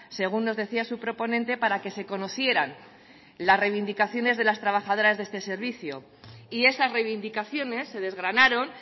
según nos decía su proponente para que se conocieran las reivindicaciones de las trabajadoras de este servicio y esas reivindicaciones se desgranaron